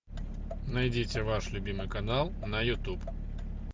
найдите ваш любимый канал на ютуб